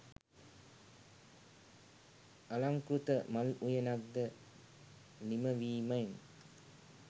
අලංකෘත මල් උයනක් ද නිම වීමෙන්